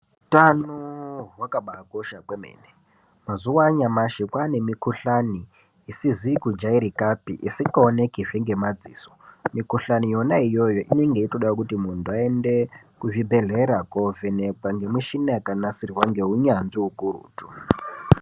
Hutano hwakabai kosha kwemene mazuva anyamashi kwane mi kuhlani isizi ku jairikapi isinga oneki zve ngema dziso mi kuhlani yona iyoyo inenge yeitoda kuti muntu ayende ku zvibhedhlera ko vhenekwa nge mishina yaka nasirwa nge unyanzvi ukurutu.